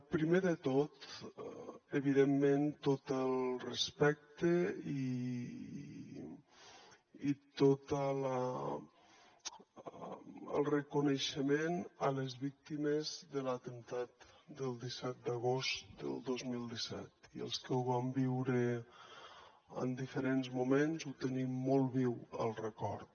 primer de tot evidentment tot el respecte i tot el reconeixement a les víctimes de l’atemptat del disset d’agost del dos mil disset i els que ho vam viure en diferents moments el tenim molt viu el record